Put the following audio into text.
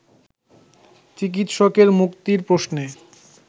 চিকিৎসকের মুক্তির প্রশ্নে